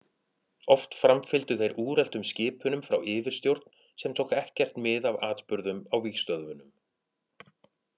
Oft framfylgdu þeir úreltum skipunum frá yfirstjórn sem tók ekkert mið af atburðum á vígstöðvunum.